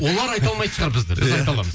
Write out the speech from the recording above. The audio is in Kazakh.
олар айта алмайтын шығар бізді біз айта аламыз